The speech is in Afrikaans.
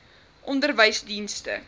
onderwysdienste